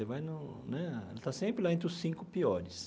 Vai no né ele está sempre lá entre os cinco piores.